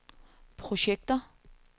projekter